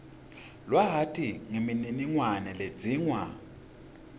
lwati nemininingwane ledzingwa